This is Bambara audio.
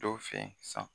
Dɔw fɛ yen san